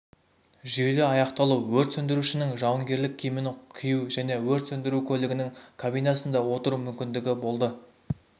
жүйелі аяқталуы өрт сөндірушінің жауынгерлік киімін кию және өрт сөндіру көлігінің кабинасында отыру мүмкіндігі болды